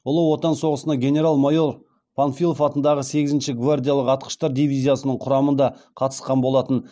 ұлы отан соғысына генерал майор панфилов атындағы сегізінші гвардиялық атқыштар дивизиясының құрамында қатысқан болатын